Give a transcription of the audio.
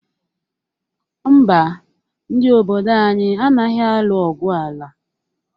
Mba, ndị obodo anyị anaghị alụ ọgwụ ala.